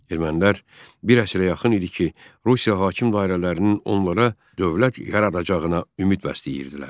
Ermənilər bir əsrə yaxın idi ki, Rusiya hakim dairələrinin onlara dövlət yaradacağına ümid bəsləyirdilər.